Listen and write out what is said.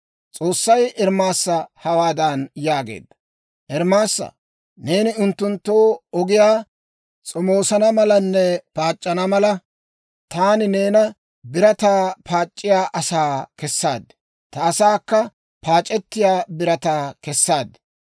S'oossay Ermaasa hawaadan yaagee; «Ermaasaa, neeni unttunttu ogiyaa s'omoosana malanne paac'c'ana mala, taani neena birataa paac'c'iyaa asaa kessaad; ta asaakka paac'ettiyaa birataa kessaad.